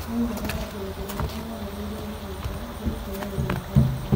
Moigaga atĩ ũndũ ũrĩa magĩrĩire nĩ gwĩka nĩ gũtiga gũthiĩ kanitha.